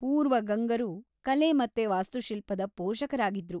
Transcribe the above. ಪೂರ್ವ ಗಂಗರು ಕಲೆ ಮತ್ತೆ ವಾಸ್ತುಶಿಲ್ಪದ ಪೋಷಕರಾಗಿದ್ರು.